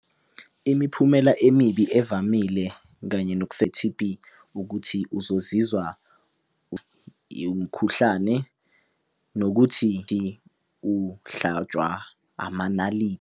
Imiphumela emibi evamile kanye noku se-T_B ukuthi uzozizwa umkhuhlane nokuthi uhlatswa .